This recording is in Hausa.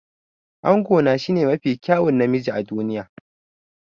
Angona shine mafi kyawun namiji a duniya.